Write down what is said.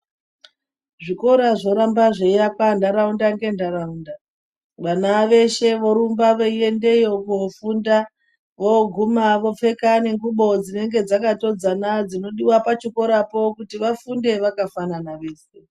Zvikora zvoramba zveiakwa ntaraunda ngentaraunda vana veshe vorumba veiendeyo kufunda voguma vopfeka nengubo dzinenge dzakatodzana dzinodiwa pachikorapo kuti vafunde vakafana vese.